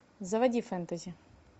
заводи фэнтези